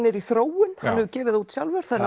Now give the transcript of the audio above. er í þróun hann hefur gefið það út þannig